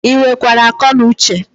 Ị nwere kwara ako nu Uche?